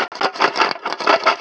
Hvernig verka, Lárus?